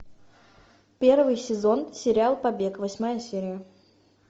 первый сезон сериал побег восьмая серия